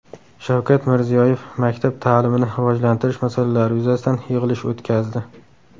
Shavkat Mirziyoyev maktab ta’limini rivojlantirish masalalari yuzasidan yig‘ilish o‘tkazdi.